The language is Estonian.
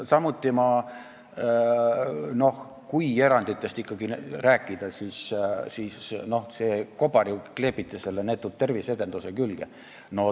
Samuti, kui eranditest ikkagi rääkida, siis see kobar ju kleebiti selle neetud terviseedenduse külge.